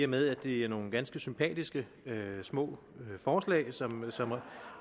med at det er nogle ganske sympatiske små forslag som